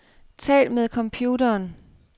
Tal med computeren.